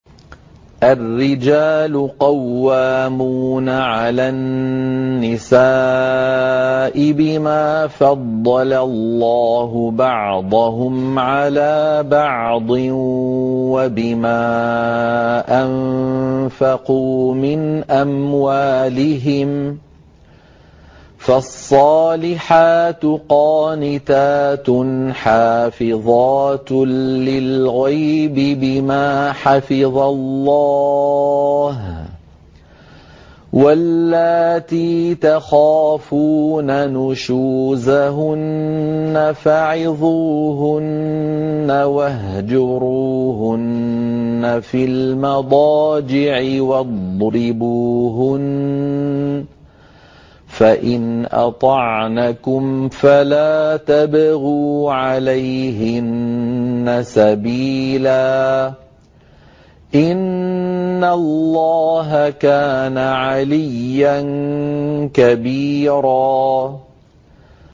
الرِّجَالُ قَوَّامُونَ عَلَى النِّسَاءِ بِمَا فَضَّلَ اللَّهُ بَعْضَهُمْ عَلَىٰ بَعْضٍ وَبِمَا أَنفَقُوا مِنْ أَمْوَالِهِمْ ۚ فَالصَّالِحَاتُ قَانِتَاتٌ حَافِظَاتٌ لِّلْغَيْبِ بِمَا حَفِظَ اللَّهُ ۚ وَاللَّاتِي تَخَافُونَ نُشُوزَهُنَّ فَعِظُوهُنَّ وَاهْجُرُوهُنَّ فِي الْمَضَاجِعِ وَاضْرِبُوهُنَّ ۖ فَإِنْ أَطَعْنَكُمْ فَلَا تَبْغُوا عَلَيْهِنَّ سَبِيلًا ۗ إِنَّ اللَّهَ كَانَ عَلِيًّا كَبِيرًا